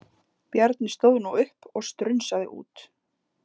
Bjarni stóð nú upp og strunsaði út.